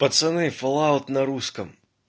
пацаны фоллаут на русском